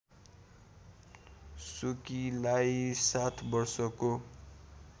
सुकीलाई सात वर्षको